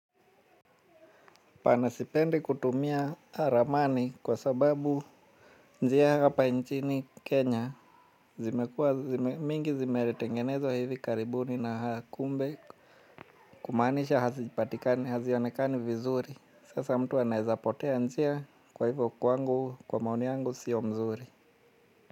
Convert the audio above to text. Bana sipendi kutumia ramani kwa sababu njia hapa nchini Kenya mingi zimetengenezwa hivi karibuni na kumbe kumanisha hazijipatikani hazionekani vizuri sasa mtu anaezapotea njia kwa hivyo kwangu kwa maoni yangu sio mzuri.